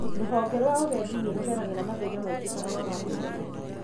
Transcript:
ruhonge rwa ũgendi nĩ rũgeragĩra mathĩna maingĩ ta kwaga mbeca